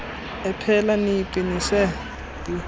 ephela niyiqi nise